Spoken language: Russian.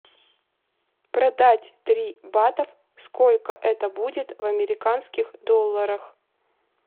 продать три батов сколько это будет в американских долларах